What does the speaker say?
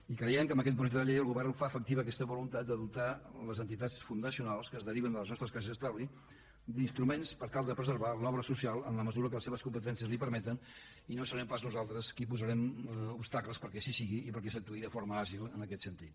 i creiem que amb aquest projecte de llei el govern fa efectiva aquesta voluntat de dotar les entitats fundacionals que es deriven de les nostres caixes d’estalvis d’instruments per tal de preservar l’obra social en la mesura que les seves competències li ho permeten i no serem pas nosaltres qui posarem obstacles perquè així sigui i perquè s’actuï de forma àgil en aquest sentit